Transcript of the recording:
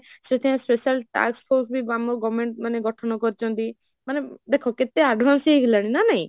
ସେଠି special task force ବି government ଗଠନ କରିଛନ୍ତି, ମାନେ ଦେଖ କେତେ advance ହେଇ ଗଲାଣି ନା ନାହିଁ?